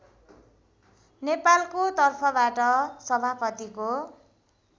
नेपालको तर्फबाट सभापतिको